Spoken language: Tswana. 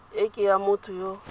e ke ya motho yo